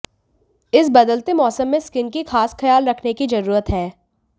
इस बदलते मौसम में स्किन की खास ख्याल रखने की जरूरत है